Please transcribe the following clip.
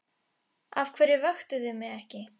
Af hverju vöktuð þið mig ekki?